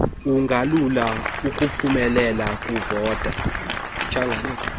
kungalula ukuphumelela kuvoto